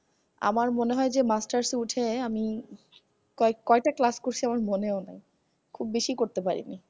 আমার মনে হয় যে masters উঠে আমি কয় কয়টা class করছি আমার মনেও নাই খুব বেশি করতে পারিনি